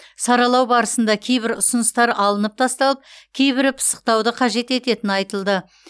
саралау барысында кейбір ұсыныстар алынып тасталып кейбірі пысықтауды қажет ететіні айтылды